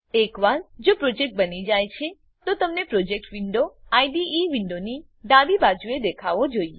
એકવાર જો પ્રોજેક્ટ બની જાય છે તો તમને પ્રોજેક્ટ વિન્ડો આઇડીઇ વિન્ડોની ડાબી બાજુએ દેખાવો જોઈએ